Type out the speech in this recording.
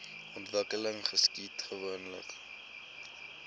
ontwikkeling geskied gewoonlik